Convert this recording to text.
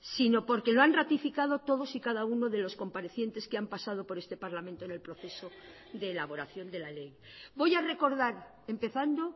sino porque lo han ratificado todos y cada uno de los comparecientes que han pasado por este parlamento en el proceso de elaboración de la ley voy a recordar empezando